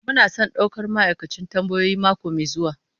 Muna son daukar ma'aikacin tambayoyi mako mai zuwa.